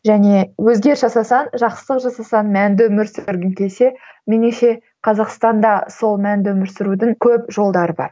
және өзгеріс жасасаң жақсылық жасасаң мәнді өмір сүргің келсе меніңше қазақстанда сол мәнді өмір сүрудің көп жолдары бар